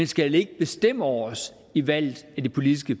skal ikke bestemme over os i valget af de politiske